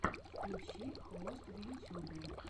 включи хвост в ютьюбе